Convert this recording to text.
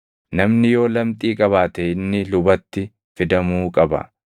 “Namni yoo lamxii qabaate inni lubatti fidamuu qaba.